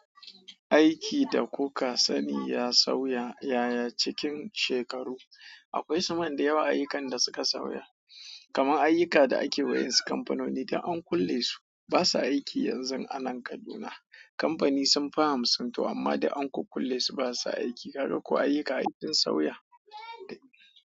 Aiki da kuka sani ya sauya yaya cikin shekaru. Akwai suman da yawa ayyukan da suka sauya, kamar ayyuka da ake wa'yansu kamfanoni da an kulle su basa aiki yanzu a nan Kaduna. Kamfani sunfi hamsin amma duk an kukkulle su basa aiki. Kaga kuwa ayyuka ai sun sauya.